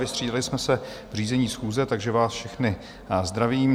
Vystřídali jsme se v řízení schůze, takže vás všechny zdravím.